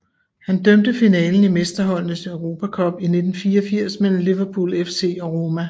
Han dømte finalen i Mesterholdenes Europa Cup i 1984 mellem Liverpool FC og Roma